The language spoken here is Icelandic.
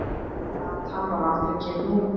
Platan var aldrei gefin út.